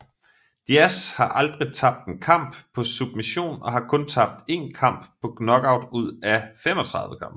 Diaz har aldrig tabt en kamp på submission og har kun tabt 1 kamp på knockout ud af 35 kampe